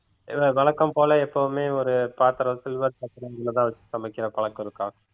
இல்ல வழக்கம் போல எப்பவுமே ஒரு பாத்திரம் silver பாத்திரம் சமைக்கிற பழக்கம் இருக்கா